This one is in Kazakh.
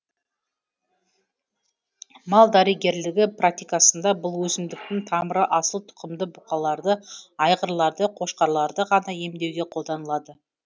мал дәрігерлігі практикасында бұл өсімдіктің тамыры асыл тұқымды бұқаларды айғырларды қошқарларды ғана емдеуге қолданылады